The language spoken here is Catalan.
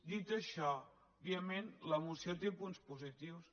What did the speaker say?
dit això òbviament la moció té punts positius